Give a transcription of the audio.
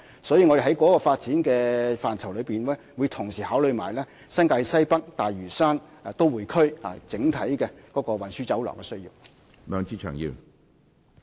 所以，在這個發展範疇中，我們會同時考慮新界西北和大嶼山都會區的整體運輸需要。